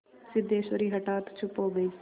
सिद्धेश्वरी हठात चुप हो गई